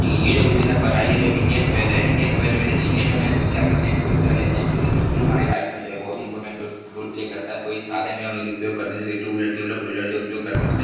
ये जो कोई दिखा पड़ रहा है ये जो इंडियन ऑयल है इंडियन ऑयल में देखिये हम क्या करते हैं? फ्यूल वगेरा लेते हैं| फ्यूल हमारे लाइफ में जो है बहुत इम्पोर्टेन्ट रो रोल प्ले करता है| कोई सादे में हम उपयोग करते हैं जैसे two wheeler three wheeler wheeler जो उपयोग करते है उसमें --